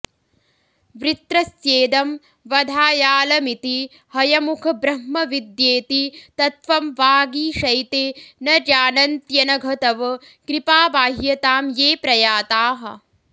वृत्रस्येदं वधायालमिति हयमुख ब्रह्मविद्येति तत्त्वं वागीशैते न जानन्त्यनघ तव कृपाबाह्यतां ये प्रयाताः